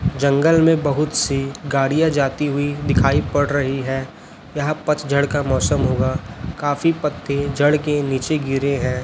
जंगल में बहुत सी गाड़ियाॅं जाती हुई दिखाई पड़ रही हैं यहाॅं पतझड़ का मौसम होगा काफी पत्ते जड़ के निचे गिरे हैं।